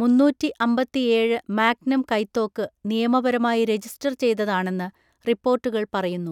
മുന്നൂറ്റി അമ്പത്തിഏഴ് മാഗ്നം കൈത്തോക്ക് നിയമപരമായി രജിസ്റ്റർ ചെയ്തതാണെന്ന് റിപ്പോർട്ടുകൾ പറയുന്നു.